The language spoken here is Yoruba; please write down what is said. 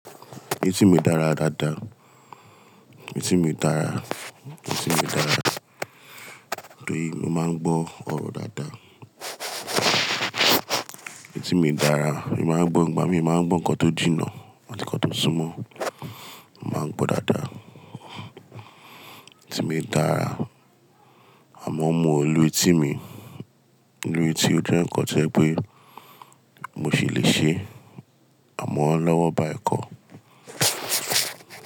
Ẹtì mi dára dáadáa. Etì mi dára, etì mi dára, torí mo máa ń gbọ́ ọ̀rọ̀ dáadáa. Etì mi dára, mo máa ń gbó, ìgbà mí ì máa ń gbọ́ nǹkan tó jìnnà àti nǹkan tó súnmọ́, màá ń gbọ́ dáadáa. Etì mi dára, àmọ́ mo mọ ìlú etí mi, ìlú etí ó jẹ́ nǹkan tẹ́ẹ́ pé mo sì le ṣe àmọ́ lọ́wọ́ bá I kọ́.